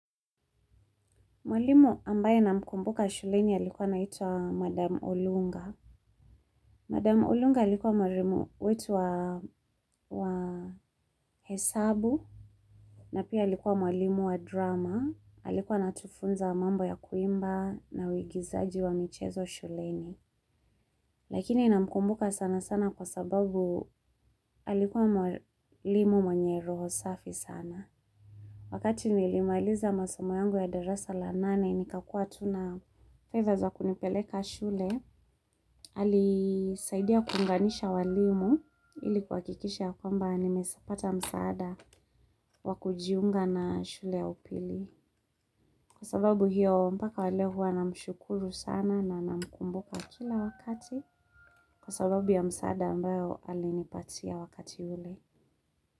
Mwalimu ambaye na mkumbuka shuleni alikuwa anaitwa Madam Olunga. Madam Olunga alikuwa mwalimu wetu wa hesabu napia alikuwa mwalimu wa drama. Alikuwa anatufunza mambo ya kuimba na uigizaji wa michezo shuleni. Lakini namkumbuka sana sana kwasababu alikuwa mwalimu mwenye roho safi sana. Wakati nilimaliza masomo yangu ya darasa la nane ni kakua tuna fedha za kunipeleka shule. Alisaidia kunganisha walimu ilikuhakikisha kwamba nimepata msaada wakujiunga na shule ya upili. Kwa sababu hiyo mpaka waleo huwa na mshukuru sana na na mkumbuka kila wakati. Kwa sababu ya msaada ambao alinipatia wakati ule.